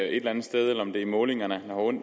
eller andet sted eller om det er målingerne